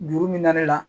Juru min na ne la